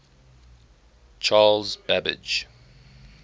charles babbage